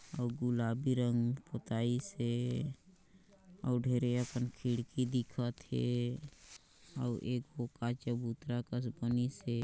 अउ गुलाबी रंग पोताईस हेअउ ढेरे असन खिड़की दिखथ हेअउ ए गो पाछन चबूतरा कस बनिसे।